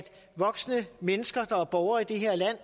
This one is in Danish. voksne mennesker der er borgere i det her land